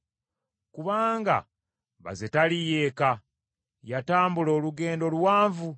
Kubanga baze taliiyo eka; yatambula olugendo luwanvu: